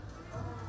Hə, o da.